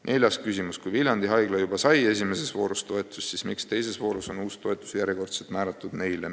Neljas küsimus: "Kui Viljandi Haigla sai juba I voorus toetust, siis miks teises voorus on uus toetus järjekordselt määratud neile?